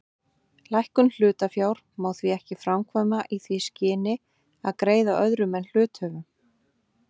Lækkun hlutafjár má því ekki framkvæma í því skyni að greiða öðrum en hluthöfum.